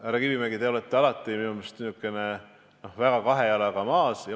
Härra Kivimägi, te olete minu meelest alati niisugune kahe jalga maas olev inimene.